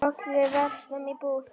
Öll við verslum í búð.